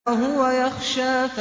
وَهُوَ يَخْشَىٰ